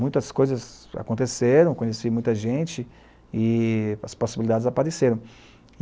Muitas coisas aconteceram, conheci muita gente e as possibilidades apareceram.